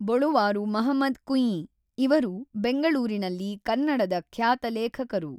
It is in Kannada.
ಬೊಳುವಾರು ಮಹಮದ್ ಕುಂಯ್ಯಿ ಇವರು ಬೆಂಗಳೂರಿನಲ್ಲಿ ಕನ್ನಡದ ಖ್ಯಾತ ಲೇಖಕರು.